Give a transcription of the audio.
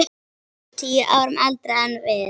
Tíu árum eldri en við.